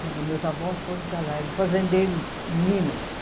Porque meus avós foram para lá, eram fazendeiros em Minas.